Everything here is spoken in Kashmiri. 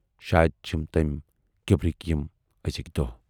شاید چھِم تمٔی کِبرٕکۍ یِم ٲزِکۍ دۅہ۔